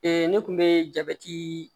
ne kun be jabɛti